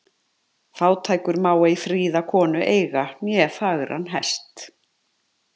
Fátækur má ei fríða konu eiga né fagran hest.